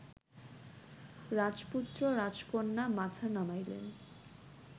রাজপুত্র রাজকন্যা মাথা নামাইলেন